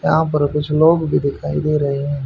यहां पर कुछ लोग भी दिखाई दे रहे हैं।